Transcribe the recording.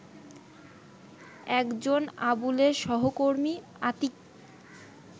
একজন আবুলের সহকর্মী আতীক